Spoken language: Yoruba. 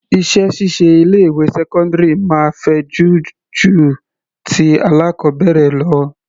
Iṣẹ́ ṣíṣe ilé ìwé sẹ́cọ́ndírì máa fẹjú ju ti alákọbẹ̀rẹ̀ lọ.